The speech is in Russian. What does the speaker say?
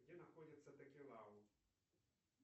где находится токелау